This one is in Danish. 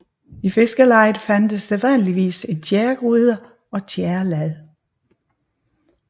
I fiskerlejet fandtes sædvanligvis en tjæregryde og tjærelad